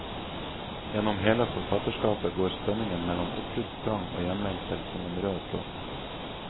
Gjennom hele forfatterskapet går spenningen mellom oppbruddstrang og hjemlengsel som en rød tråd.